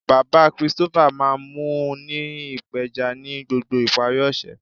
Baba Christopher maa n mu u ni ipeja ni gbogbo ipari ose.